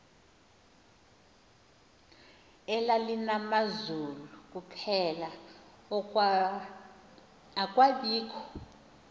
elalinamazulu kuphela akwabikho